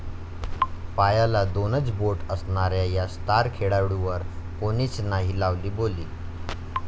पायाला दोनच बोट असणाऱ्या या स्टार खेळाडूवर कोणीच नाही लावली बोली